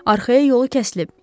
Arxaya yolu kəsilib.